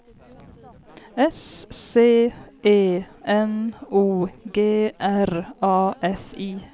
S C E N O G R A F I